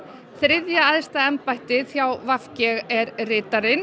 þriðja æðsta embættið hjá v g er ritarinn